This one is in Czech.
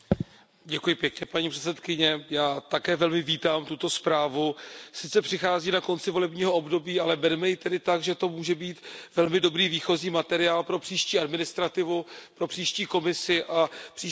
Paní předsedající, já také velmi vítám tuto zprávu, sice přichází na konci volebního období, ale berme ji tedy tak, že to může být velmi dobrý výchozí materiál pro příští administrativu, pro příští Komisi a příští Parlament.